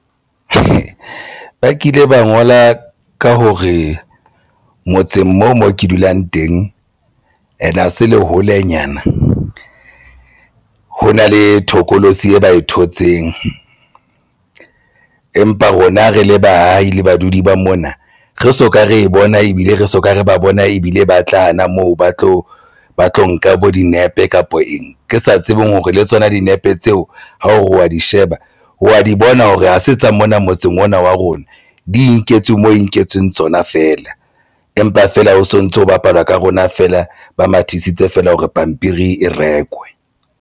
Ba kile ba ngola ka hore motseng moo mo ke dulang teng and ha se le holenyana ho na le thokolosi eo ba e thotseng empa rona re le baahi le badudi ba mona re soka re bona ebile re soka re ba bona ebile ba tla hana moo ba tla ba tlo nka bo dinepe kapa eng re sa tsebeng hore le tsona dinepe tseo ha o wa di sheba, wa di bona hore ha se tsa mona motseng ona wa rona di nketswe mo e nketsweng tsona feela, empa feela o sontso, o bapalwa ka rona feela. Ba mathisitse feela hore pampiri e rekwe.